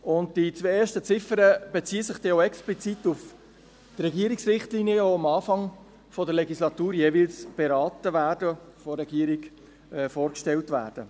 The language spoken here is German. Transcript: Die die zwei ersten Ziffern beziehen sich dann auch explizit auf die Regierungsrichtlinien, die am Anfang der Legislatur jeweils beraten werden und von der Regierung vorgestellt werden.